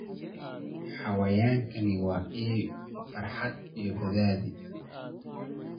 Xayawaankani waa il farxad iyo badhaadhe.